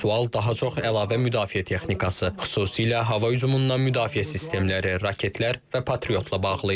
Sual daha çox əlavə müdafiə texnikası, xüsusilə hava hücumundan müdafiə sistemləri, raketlər və patriotla bağlı idi.